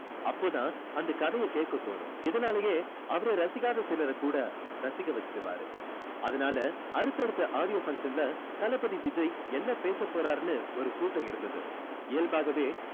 அப்போ தான் அந்த கதையை கேக்க தோணும் இதுனாலயே அவரை ரசிக்காத சிலரை கூட ரசிக்க வைச்சிடுவாறு அதனால அடுத்த அடுத்த audio function ல தளபதி விஜய் என்ன பேச போறாருன்னு ஒரு கூட்டம் இருந்தது இயல்பாகவே